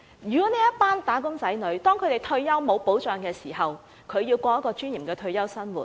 如果這群"打工仔女"退休無保障，他們如何可以過有尊嚴的退休生活？